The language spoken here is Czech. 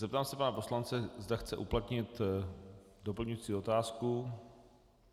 Zeptám se pana poslance, zda chce uplatnit doplňující otázku.